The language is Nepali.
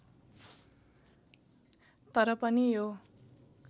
तर पनि यो